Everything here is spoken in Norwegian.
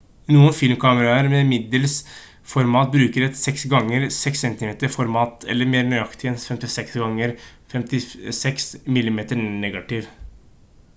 noen filmkameraer med middelsformat bruker et 6 ganger 6 cm format eller mer nøyaktig en 56 ganger 56 mm-negativ